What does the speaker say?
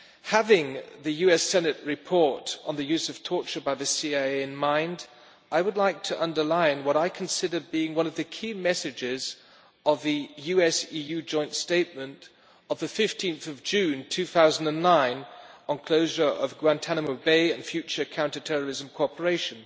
Having the US Senate report on the use of torture by the CIA in mind, I would like to underline what I consider being one of the key messages of the US-EU joint statement of 15 June 2009 on the closure of Guantanamo Bay and future counter-terrorism cooperation